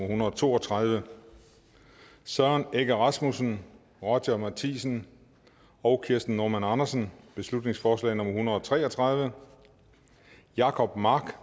hundrede og to og tredive søren egge rasmussen roger matthisen og kirsten normann andersen beslutningsforslag nummer b en hundrede og tre og tredive jacob mark